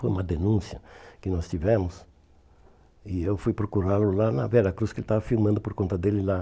Foi uma denúncia que nós tivemos e eu fui procurá-lo lá na Vera Cruz, que ele estava filmando por conta dele lá.